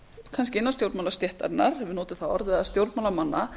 kannski innan sjojónmálstéttarinnar svo maður noti það orð eða stjórnmálamanna